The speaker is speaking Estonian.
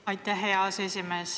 Aitäh, hea aseesimees!